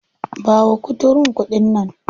Ba wa kuturun kuɗi nan.